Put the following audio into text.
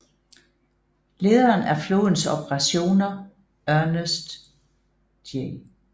Lederen af flådens operationer Ernest J